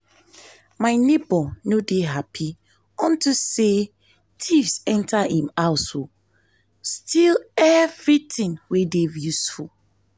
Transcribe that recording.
my neighbour no dey happy unto say thieves enter im house o steal everything wey dey useful